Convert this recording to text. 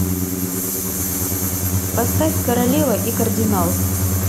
поставь королева и кардинал